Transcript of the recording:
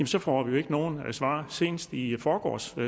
så får vi ikke noget svar senest i forgårs